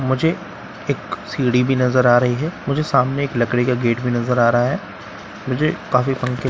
मुझे एक सिड़ी भी नजर रा रही है मुझे सामने एक लकरी का गेट भी नजर आ रहा है मुझे काफी पंखे--